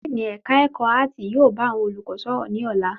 Díìnì ẹ̀ka ẹ̀kọ́ áàtì yóò bá àwọn olùkọ́ sọ̀rọ̀ ní ọ̀la.